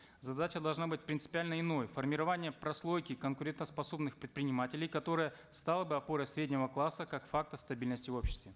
задача должна быть принципиально иной формирование прослойки конкурентоспособных предпринимателей которая стала бы опорой среднего класса как фактор стабильности в обществе